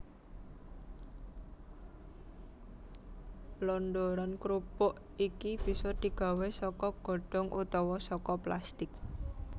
Londoran krupuk iki bisa digawé saka godhong utawa saka plastik